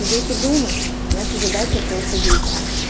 сидеть и думать наша задача просто действовать